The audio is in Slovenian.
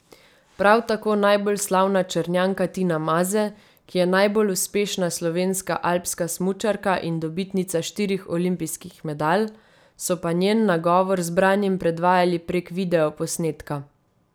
Prav tako najbolj slavna Črnjanka Tina Maze, ki je najbolj uspešna slovenska alpska smučarka in dobitnica štirih olimpijskih medalj, so pa njen nagovor zbranim predvajali prek video posnetka.